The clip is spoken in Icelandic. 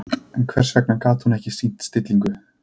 En hvers vegna gat hún ekki sýnt stillingu?